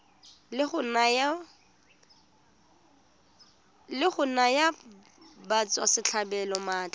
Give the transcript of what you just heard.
la go naya batswasetlhabelo maatla